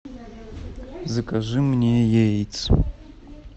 закажи мне яиц